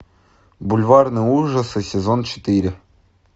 бульварные ужасы сезон четыре